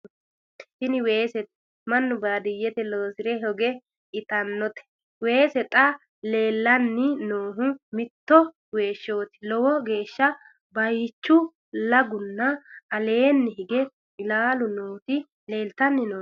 tini weesete mannu baadiyete loosire hoge itannnote waasa xa leellanni noohu mitto weeshshooti lowo geeshsha baychu lagunna aleenni hig ilaalu nooti leeltanni nooe